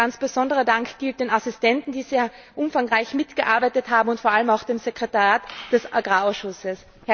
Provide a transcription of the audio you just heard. Aber ein ganz besonderer Dank gilt den Assistenten, die sehr umfangreich mitgearbeitet haben, und vor allem auch dem Sekretariat des Agrarausschusses.